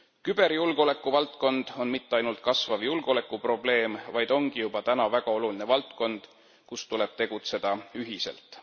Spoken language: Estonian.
Küberjulgeoleku valdkond on mitte ainult kasvav julgeolekuprobleem, vaid ongi juba täna väga oluline valdkond, kus tuleb tegutseda ühiselt.